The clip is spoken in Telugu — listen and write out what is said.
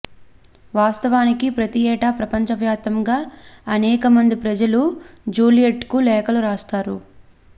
వాస్తవానికి ప్రతి ఏటా ప్రపంచవ్యాప్తంగా అనేక మంది ప్రజలు జూలియట్ కు లేఖలు రాస్తారు